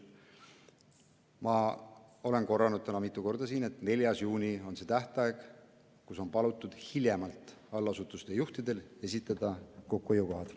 Ma olen korranud täna mitu korda, et 4. juuni on tähtaeg, millal hiljemalt on allasutuste juhtidel palutud esitada kokkuhoiukohad.